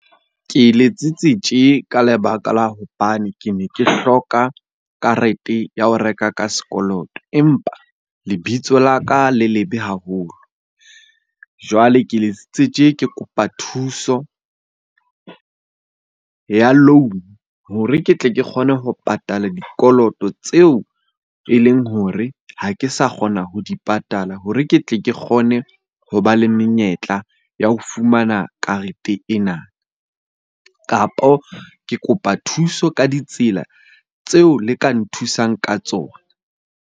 Ke letsitse tje ka lebaka la hobane ke ne ke hloka karete ya ho reka ka sekoloto, empa lebitso la ka le lebe haholo. Jwale ke letsitse tje Ke kopa thuso ya loan-o hore ke tle ke kgone ho patala dikoloto tseo e leng hore ha ke sa kgona ho di patala hore ke tle ke kgone ho ba le menyetla ya ho fumana karete ena. Kapo ke kopa thuso ka ditsela tseo le ka nthusang ka tsona.